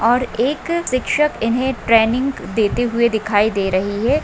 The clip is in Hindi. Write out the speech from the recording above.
और एक शिक्षक इन्हे ट्रेनिंग देते हुए दिखाई दे रही है।